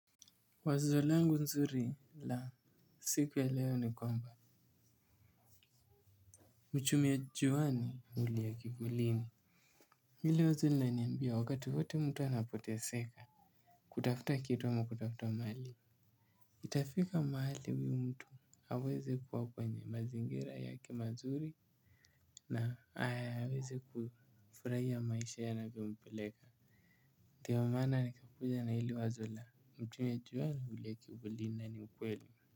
Wazo langu nzuri la siku ya leo ni kwamba mchumia juwani hulia kivulini. Hili wazo lina niambia wakati wote mtu anapotea seka. Kutafuta kitu ama kutafuta mali. Itafika mahali huyu mtu aweze kuwa kwenye mazingira yake mazuri na ayaweze kufurahiya maisha yanavyompeleka. Ndio maana nikakuja na hili wazo la mchumia juwani hulia kivulina na ni ukweli.